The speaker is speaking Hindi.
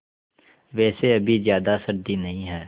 वैसे अभी ज़्यादा सर्दी नहीं है